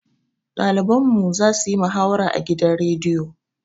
Ɗaliban mu za su yi muhawara a gidan rediyo.